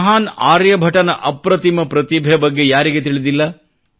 ಮಹಾನ್ ಆರ್ಯಭಟನ ಅಪ್ರತಿಮ ಪ್ರತಿಭೆ ಬಗ್ಗೆ ಯಾರಿಗೆ ತಿಳಿದಿಲ್ಲ